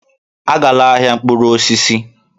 Agala n'ahịa mkpụrụ osisi!